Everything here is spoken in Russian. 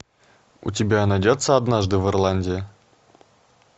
у тебя найдется однажды в ирландии